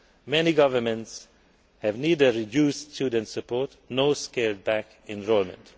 Many governments have neither reduced student support nor scaled back enrolment.